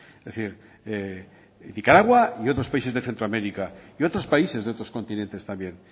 es decir nicaragua y otro países de centroamérica y otros países de otros continentes también